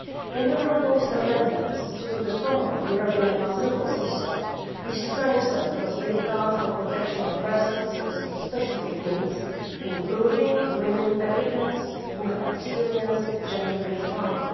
In the proposed amendments to the Common European Asylum System we strengthen the safeguards for protection of persons with specific needs, including women applicants who have experienced gender based harm.